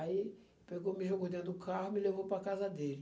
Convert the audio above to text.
Aí, pegou, me jogou dentro do carro e me levou para a casa dele.